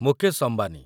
Mukesh Ambani